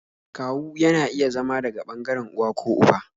Kawu yana iya zama daga ɓangaren uwa ko uba